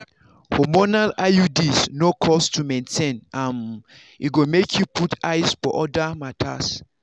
hormonal iuds no cost to maintain um e go make you put eyes for other matters.